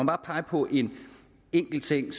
bare pege på en enkelt ting